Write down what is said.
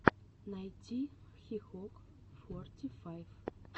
найти хикок форти файв